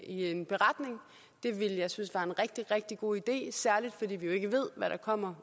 en beretning det ville jeg synes var en rigtig rigtig god idé særlig fordi vi jo ikke ved hvad der kommer